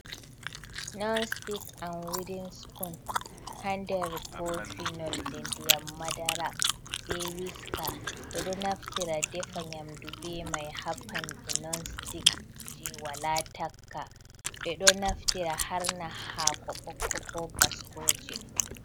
Non stik am widin sipun, haa nder kofi nolde ndiyam madara, be wiska, ɓe ɗo naftira defa nyamdu be may haa pande non sitik jey walaa takka, ɓe ɗo naftira harna haako ɓokko ko baskooje.